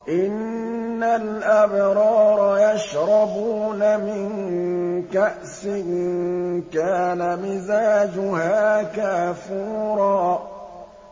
إِنَّ الْأَبْرَارَ يَشْرَبُونَ مِن كَأْسٍ كَانَ مِزَاجُهَا كَافُورًا